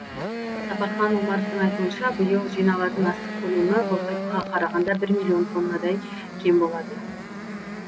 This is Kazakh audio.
сапархан омаровтың айтуынша биыл жиналатын астық көлемі былтырғыға қарағанда бір миллион тоннадай кем болады